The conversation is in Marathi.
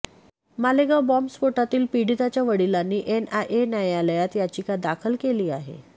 मालेगाव बॉम्ब स्फोटातील पीडिताच्या वडिलांनी एनआयए न्यायालयात याचिका दाखल केली आहे